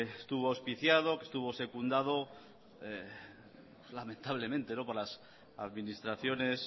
estuvo auspiciado que estuvo secundado lamentablemente por las administraciones